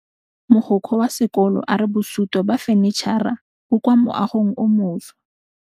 Mogokgo wa sekolo a re bosutô ba fanitšhara bo kwa moagong o mošwa.